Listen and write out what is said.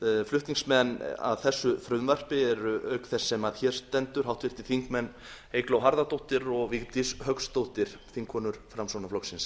flutningsmenn að þessu frumvarpi eru auk þess sem hér stendur háttvirtir þingmenn eygló harðardóttir og vigdís hauksdóttir þingkonur framsóknarflokksins